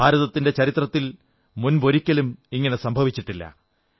ഭാരതത്തിന്റെ ചരിത്രത്തിൽ മുമ്പൊരിക്കലും ഇങ്ങനെ ഉണ്ടായിട്ടില്ല